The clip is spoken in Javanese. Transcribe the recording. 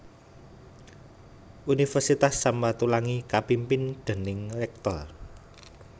Universitas Sam Ratulangi kapimpin déning Rektor